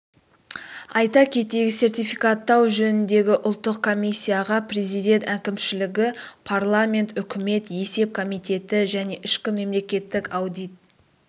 айта кетейік сертификаттау жөніндегі ұлттық комиссияға президент әкімшілігі парламент үкімет есеп комитеті және ішкі мемлекеттік аудит